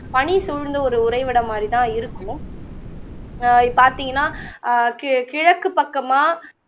பனி சூழ்ந்து ஒரு உரைவிடம் மாதிரிதான் இருக்கும் வா பார்த்தீங்கன்ன அஹ் கி கிழக்கு பக்கமா